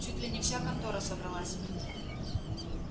чуть ли не вся контора собралась